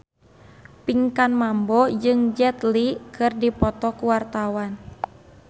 Pinkan Mambo jeung Jet Li keur dipoto ku wartawan